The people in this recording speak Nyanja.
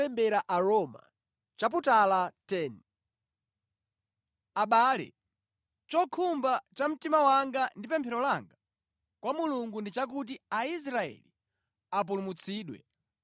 Abale, chokhumba cha mtima wanga ndi pemphero langa kwa Mulungu ndi chakuti Aisraeli apulumutsidwe.